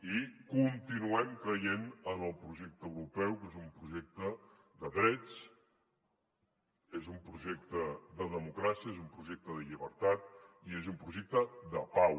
i continuem creient en el projecte europeu que és un projecte de drets és un projecte de democràcia és un projecte de llibertat i és un projecte de pau